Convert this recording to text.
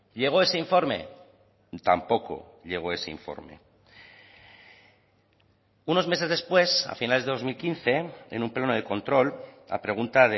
llegó ese informe tampoco llegó ese informe unos meses después a finales de dos mil quince en un pleno de control la pregunta